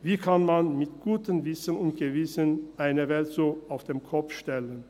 Wie kann man mit gutem Wissen und Gewissen eine Welt so auf den Kopf stellen?